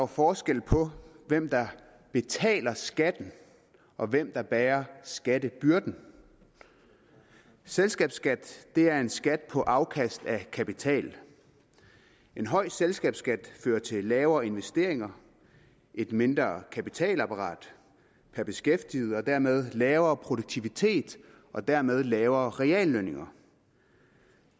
forskel på hvem der betaler skatten og hvem der bærer skattebyrden selskabsskat er en skat på afkast af kapital en høj selskabsskat fører til lavere investeringer et mindre kapitalapparat per beskæftiget og dermed lavere produktivitet og dermed lavere reallønninger